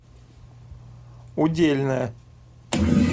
удельная